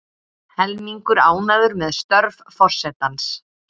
Helmingur ánægður með störf forsetans